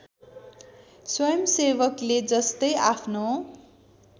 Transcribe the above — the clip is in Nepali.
स्वयंसेवकले जस्तै आफ्नो